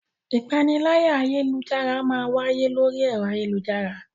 Ìpaniláyà ayélujára máa ń wáyé lórí ẹ̀rọ ayélujára